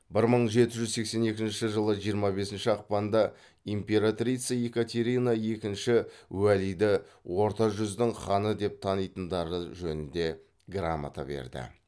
бір мың жеті жүз сексен екінші жылы жиырма бесінші ақпанда императрица екатерина екінші уәлиді орта жүздің ханы деп танитындықтары жөнінде грамота берді